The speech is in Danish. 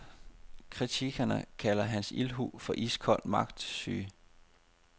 Kritikerne kalder hans ildhu for iskold magtsyge.